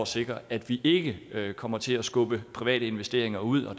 sikrer at vi ikke kommer til at skubbe private investeringer ud